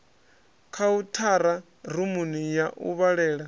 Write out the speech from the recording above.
khauthara rumuni ya u vhalela